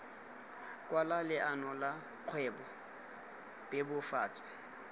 kwala leano la kgwebo bebofatsa